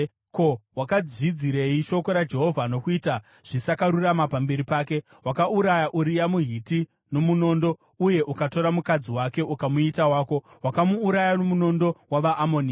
Ko, wakazvidzirei shoko raJehovha nokuita zvisakarurama pamberi pake? Wakauraya Uria muHiti nomunondo uye ukatora mukadzi wake ukamuita wako. Wakamuuraya nomunondo wavaAmoni.